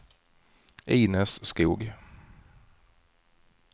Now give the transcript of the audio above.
Inez Skoog